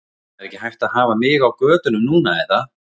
Það er ekki hægt að hafa mig á götunum núna er það?